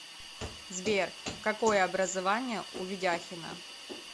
сбер какое образование у ведяхина